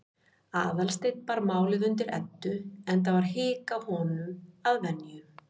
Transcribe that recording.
Aðalsteinn bar málið undir Eddu, enda var hik á honum að venju.